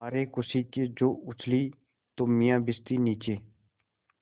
मारे खुशी के जो उछली तो मियाँ भिश्ती नीचे